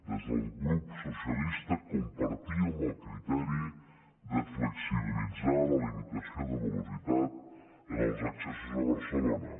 des del grup socialista compartíem el criteri de flexibilitzar la limitació de velocitat en els accessos a barcelona